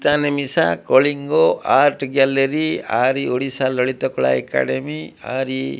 Can ମିସା Kalinga art gallery ଆର୍ ଇ ଓଡ଼ିଶା ଲଳିତ କଳା ଏକାଡେମୀ ଆର ଇ।